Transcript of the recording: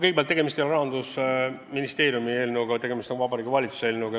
Kõigepealt, tegemist ei ole Rahandusministeeriumi eelnõuga, vaid Vabariigi Valitsuse eelnõuga.